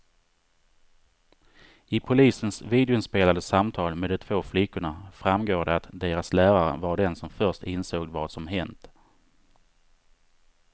I polisens videoinspelade samtal med de två flickorna framgår det att deras lärare var den som först insåg vad som hänt.